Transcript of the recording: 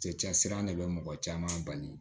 Cɛcɛ sira de bɛ mɔgɔ caman bali